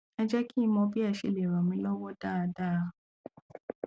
ẹ jẹ kí n mọ bí ẹ ṣe lè ràn mí lọwọ dáadáa